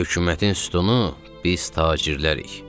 Hökumətin sütunu biz tacirlərik.